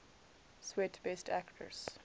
swet best actress